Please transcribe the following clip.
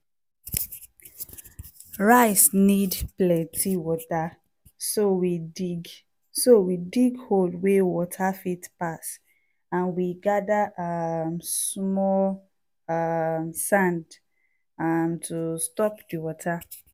rice need plenty water so we dig so we dig hole wey water fit pass and we gather um small um sand um to stop di water.